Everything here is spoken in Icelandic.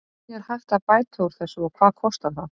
Hvernig er hægt að bæta úr þessu og hvað kostar það?